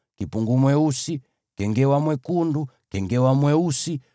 kengewa mwekundu, kengewa mweusi, mwewe wa aina yoyote,